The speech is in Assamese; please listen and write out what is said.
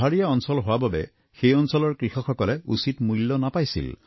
পাহাৰীয়া অঞ্চল হোৱা বাবে সেই অঞ্চলৰ কৃষকসকলে উচিত মূল্য নাপাইছিল